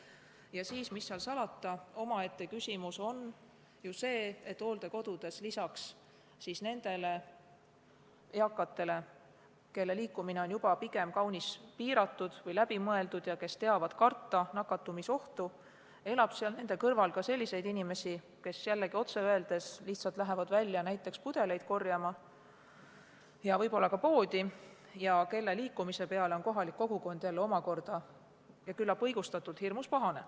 Ja mis seal salata, omaette küsimus on ka see, et hooldekodudes elab lisaks eakatele, kelle liikumine on kaunis piiratud või läbimõeldud ja kes teavad karta nakatumisohtu, ka selliseid inimesi, kes lihtsalt lähevad välja näiteks pudeleid korjama ja võib-olla ka poodi ning kelle liikumise peale on kohalik kogukond hirmus pahane, küllap õigustatult.